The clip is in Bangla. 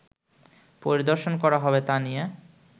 পরিদর্শন করা হবে তা নিয়ে